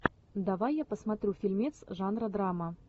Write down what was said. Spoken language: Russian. давай я посмотрю фильмец жанра драма